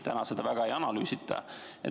Täna seda väga ei analüüsita.